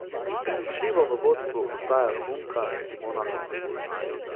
Prepričljivo v vodstvu ostaja Romunka Simona Halep.